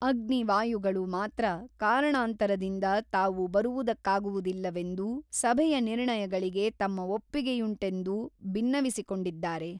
ಅಗ್ನಿ ವಾಯುಗಳು ಮಾತ್ರ ಕಾರಣಾಂತರದಿಂದ ತಾವು ಬರುವುದಕ್ಕಾಗುವುದಿಲ್ಲವೆಂದೂ ಸಭೆಯ ನಿರ್ಣಯಗಳಿಗೆ ತಮ್ಮ ಒಪ್ಪಿಗೆಯುಂಟೆಂದೂ ಬಿನ್ನವಿಸಿಕೊಂಡಿದ್ದಾರೆ.